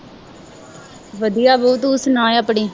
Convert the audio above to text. ਵਧੀਆ ਤੂੰ ਸੁਣਾ ਆਪਣੀ